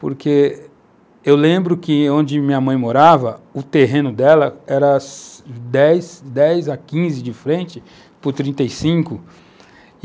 porque eu lembro que, onde minha mãe morava, o terreno dela era de 10 a 15 de frente por 35.